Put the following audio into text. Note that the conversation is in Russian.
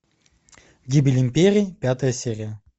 гибель империи пятая серия